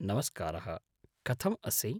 नमस्कारः, कथम् असि?